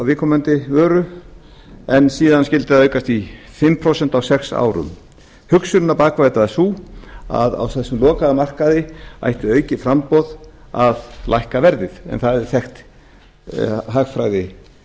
viðkomandi vöru en síðan skyldi það aukast í fimm prósent á sex árum hugsunin á bak við þetta var sú að á þessum lokaða markaði ætti aukið framboð að lækka verðið en það er